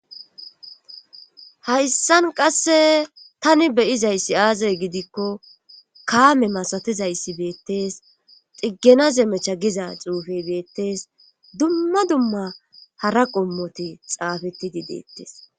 hayssan qasse tani beyizayssi aazay gidikko kaame masatizayssi beettees xiggena zemecha giza xuufey beettees dumma dumma hara qommote xaafeti di deettes